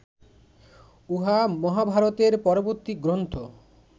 উহা মহাভারতের পরবর্তী গ্রন্থ